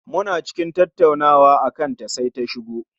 Muna cikin tattaunawa akan ta sai ta shigo